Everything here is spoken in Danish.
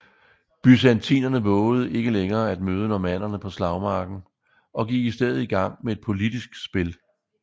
Byzantinerne vovede ikke længere at møde normannerne på slagmarken og gik i stedet i gang med et politisk spil